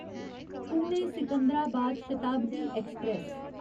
Pune Secunderabad Shatabdi express